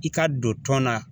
I ka don tɔn na